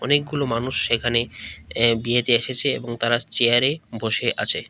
অনেকগুলো মানুষ এখানে এ্যা বিয়েতে এসেছে এবং তারা চেয়ারে বসে আছে।